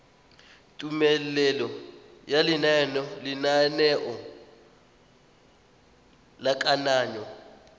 tumelelo ya lenaneo la kananyo